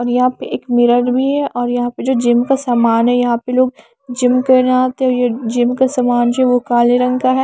और यहाँ पे एक मिरर भी है और यहाँ पे जो जिम का सामान है यहाँ पे लोग जिम करने आते हैं ये जिम का सामान जो है वो काले रंग का है।